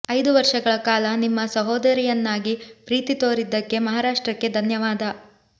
ಐದು ವರ್ಷಗಳ ಕಾಲ ನಿಮ್ಮ ಸಹೋದರಿಯನ್ನಾಗಿ ಪ್ರೀತಿ ತೋರಿದ್ದಕ್ಕೆ ಮಹಾರಾಷ್ಟ್ರಕ್ಕೆ ಧನ್ಯವಾದ